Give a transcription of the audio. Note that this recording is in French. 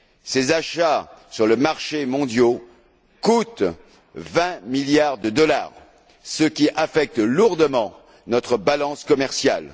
Ces achats sur les marchés mondiaux coûtent 20 milliards de dollars, ce qui affecte lourdement notre balance commerciale.